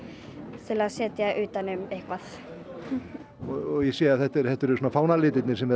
til að setja utan um eitthvað ég sé að þetta eru þetta eru fánalitirnir sem þið